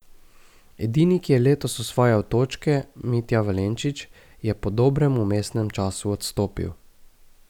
Edini, ki je letos osvajal točke, Mitja Valenčič, je po dobrem vmesnem času odstopil.